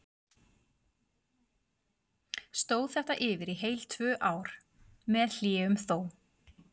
Stóð þetta yfir í heil tvö ár, með hléum þó.